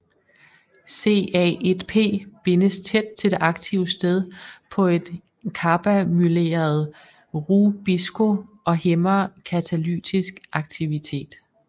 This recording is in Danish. CA1P bindes tæt til det aktive sted på et karbamyleret RuBisCO og hæmmer katalytisk aktivitet